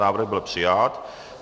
Návrh byl přijat.